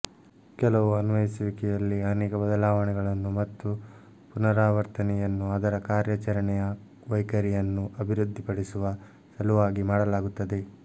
ಕೆಲವು ಅನ್ವಯಿಸುವಿಕೆಯಲ್ಲಿ ಅನೇಕ ಬದಲಾವಣೆಗಳನ್ನು ಮತ್ತು ಪುನರಾವರ್ತನೆಯನ್ನು ಅದರ ಕಾರ್ಯಾಚರಣೆಯ ವೈಖರಿಯನ್ನು ಅಭಿವೃದ್ಧಿಪಡಿಸುವ ಸಲುವಾಗಿ ಮಾಡಲಾಗುತ್ತದೆ